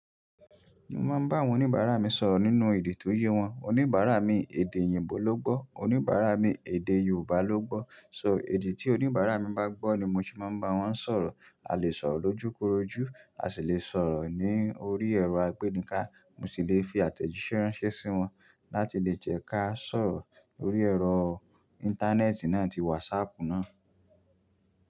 Mo máa ń bá àwọn oníbàárà mi sọ̀rọ̀ nínú èdè tó yé wọn. Oníbàárà mi èdè òyìnbó ló gbọ́, oníbàárà mi èdè Yorùbá ló gbọ́. So èdè tí oníbàárà mi bá gbọ́ ni mo ṣe máa ń bá wọn sọ̀rọ̀. A lè sọ̀rọ̀ lójúkorojú, a sì lè sọ̀rọ̀ ní orí ẹ̀rọ agbénika. Mo sì lè fi àtẹ̀jíṣẹ́ ránṣẹ́ sí wọn láti lè jẹ́ ká sọ̀rọ̀ lórí ẹ̀rọ íńtánẹ́ẹ̀tì náà ti wásaàpù náà.